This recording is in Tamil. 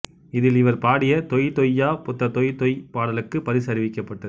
இதில் இவர் பாடிய தொய் தொய்யா புத்த தொய் தொய் பாடலுக்கு பரிசு அறிவிக்கப்பட்டது